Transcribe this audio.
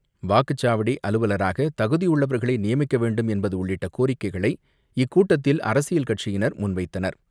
வாக்குச்சாவடி அலுவலராக தகுதியுள்ளவர்களை நியமிக்க வேண்டும் என்பது உள்ளிட்ட கோரிக்கைகளை இக்கூட்டத்தில் அரசியல் கட்சியினர் முன்வைத்தனர்.